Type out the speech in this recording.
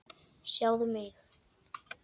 Sjáðu mig.